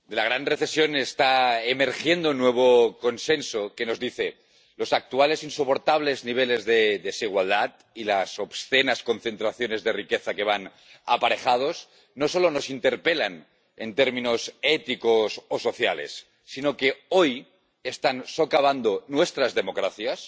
Señora presidenta, de la gran recesión está emergiendo un nuevo consenso que nos dice que los actuales e insoportables niveles de desigualdad y las obscenas concentraciones de riqueza que van aparejadas no solo nos interpelan en términos éticos o sociales sino que hoy están socavando nuestras democracias,